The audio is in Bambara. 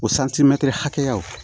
O hakɛyaw